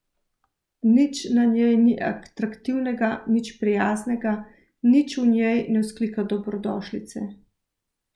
Nič na njej ni atraktivnega, nič prijaznega, nič v njej ne vzklika dobrodošlice.